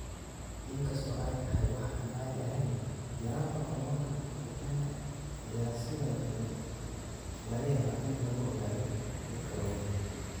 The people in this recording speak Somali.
Inkasta oo ay tahay wax aan caadi ahayn, yaraanta hormoonka koritaanka ayaa sidoo kale laga yaabaa in lagu ogaado dadka waaweyn.